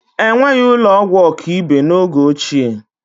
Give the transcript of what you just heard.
Enweghị ụlọ ọgwụ ọkaibe n'oge ochie